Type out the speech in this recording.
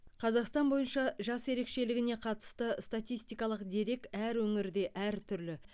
қазақстан бойынша жас ерекшелігіне қатысты статистикалық дерек әр өңірде әртүрлі